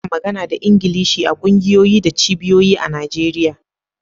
Ana magana da Ingilishi a kungiyoyi da cibiyoyi a Najeriya.